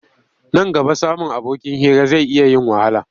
Nan gaba samun abokin hira zai iya yin wahala.